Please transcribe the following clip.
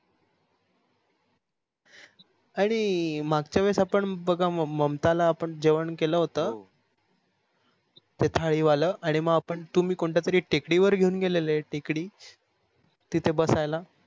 आणि मागची वेळेस आपण बघा ममता ला आपण जेवण केल होत ते थाळी वाल आणि मग आपण तुम्ही कोणत्यातरी टेकडीवर घेवून गेलेलं टेकडी तिथ बसायला